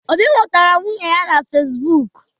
Obi hụtara nwunye ya na Fesbụk.